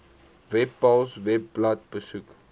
webpals webblad besoek